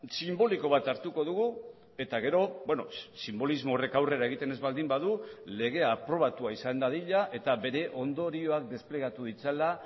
sinboliko bat hartuko dugu eta gero sinbolismo horrek aurrera egiten ez baldin badu legea aprobatua izan dadila eta bere ondorioak desplegatu ditzala